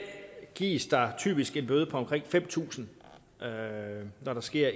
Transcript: gives der typisk en bøde på omkring fem tusind kr når der sker